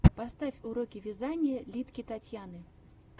поставь уроки вязания литке татьяны